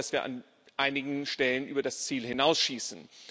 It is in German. Ich glaube, dass wir an einigen Stellen über das Ziel hinausschießen.